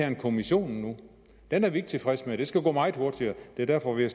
en kommission nu den er vi ikke tilfreds med det skal gå meget hurtigere og det er derfor vi